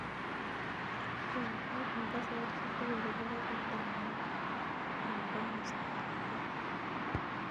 Kaikai pangan saparishek tugul chebo garit ab maat en komsatab a